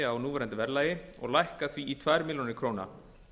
á núverandi verðlagi og lækka því í tvær milljónir króna